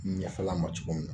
N yafal'a ma cogo min na